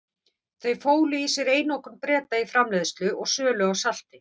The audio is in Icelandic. Þau fólu í sér einokun Breta í framleiðslu og sölu á salti.